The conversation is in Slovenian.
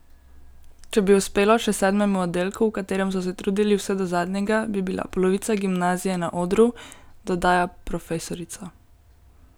Če bi uspelo še sedmemu oddelku, v katerem so se trudili vse do zadnjega, bi bila polovica gimnazije na odru, dodaja profesorica.